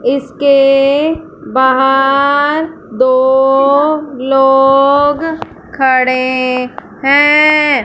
इसके बाहर दो लोग खड़े हैं।